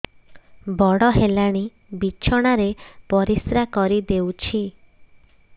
ବଡ଼ ହେଲାଣି ବିଛଣା ରେ ପରିସ୍ରା କରିଦେଉଛି